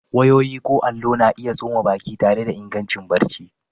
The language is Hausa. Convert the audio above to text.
Wayoyi ko allo, na iya tsoma baki tare da ingancin barci.